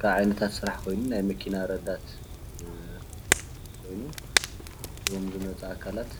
ካብ ዓይነታት ስራሕ ኮይኑ ናይ መኪና ረዳት ኮይኑ እዞም ዝመፁ ኣካላት